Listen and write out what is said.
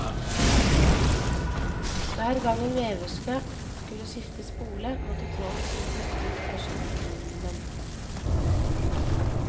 Hver gang en veverske skulle skifte spole, måtte tråden suges ut av skyttelen.